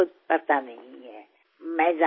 మీరేమిటనేది మీకు తెలీదు